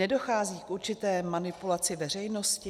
Nedochází k určité manipulaci veřejnosti?